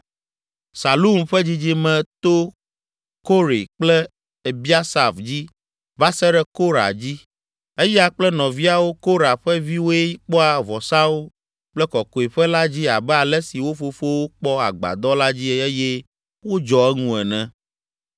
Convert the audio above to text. Salum ƒe dzidzime to Kore kple Ebiasaf dzi va se ɖe Korah dzi. Eya kple nɔviawo, Korah ƒe viwoe kpɔa vɔsawo kple Kɔkɔeƒe la dzi abe ale si wo fofowo kpɔ agbadɔ la dzi eye wodzɔ eŋu ene.